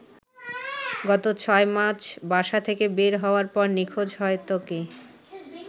গত ৬ মার্চ বাসা থেকে বের হওয়ার পর নিখোঁজ হয় ত্বকি।